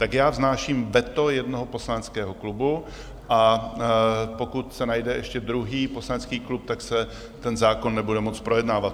Tak já vznáším veto jednoho poslaneckého klubu, a pokud se najde ještě druhý poslanecký klub, tak se ten zákon nebude moct projednávat.